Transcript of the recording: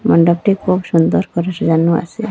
মন্ডপটি খুব সুন্দর করে সাজানো আসে।